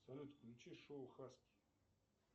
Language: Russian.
салют включи шоу хаски